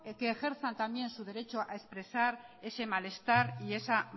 que ejerzan también su derecho a expresar ese malestar y esa